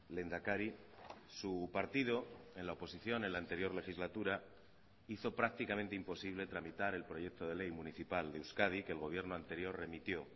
lehendakari su partido en la oposición en la anterior legislatura hizo prácticamente imposible tramitar el proyecto de ley municipal de euskadi que el gobierno anterior remitió